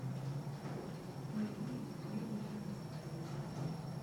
марине ерохиной